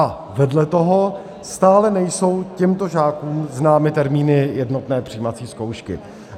A vedle toho stále nejsou těmto žákům známy termíny jednotné přijímací zkoušky.